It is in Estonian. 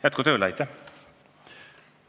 Jätku tööle!